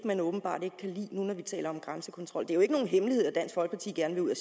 når vi taler om grænsekontrol det er jo ikke nogen hemmelighed at dansk folkeparti gerne vil ud af